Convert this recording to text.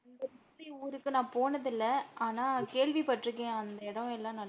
ஊருக்கு நான் போனது இல்ல, ஆனா கேள்வி பட்டுருக்கேன். அந்த இடம் எல்லாம் நல்லா